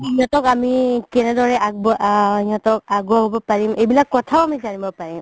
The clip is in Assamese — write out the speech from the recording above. সিহতক আমি কেনেদৰে আগবঢ়াই আ সিহতক আগুৱাব পাৰিম এইবিলাক কথাও আমি জানিব পাৰিম